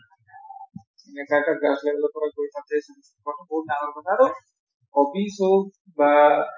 এনেকুৱা এটা dance level ৰ পৰা গৈ তাতে success হোৱাটো বহুত ডাঙৰ কথা আৰু